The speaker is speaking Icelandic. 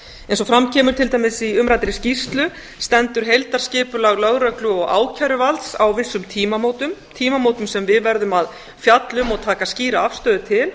eins og fram kemur til dæmis í umræddri skýrslu stendur heildarskipulag lögreglu og ákæruvalds á vissum tímamótum tímamótum sem við verðum að fjalla um og taka skýra afstöðu til